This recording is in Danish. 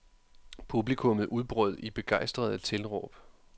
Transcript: Publikumet udbrød i begejstrede tilråb.